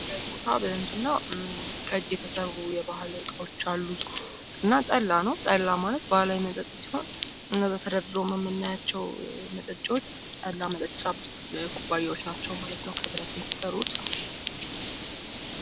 ይህ ቦታ ምንድነው ከእጅ የተሰሩ ባህላዊ መጠጦች አሉ ።ጠላ ነው። ጠላ ማለት ባህላዊ መጠጥ ሲሆን እነዛ ተደርድረውም ምናያቸው መጠጫዎች ጠላ መጠጫ ኩባያዎች ናቸው ማለት ነው። ከብረት ነው የተሰሩት